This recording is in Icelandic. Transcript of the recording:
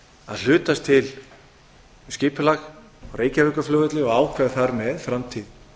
að hlutast til um skipulag á reykjavíkurflugvelli og ákveða þar með framtíð